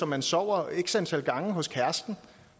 man sover x antal gange hos kæresten